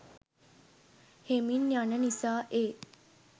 හෙමින් යන නිසා ඒ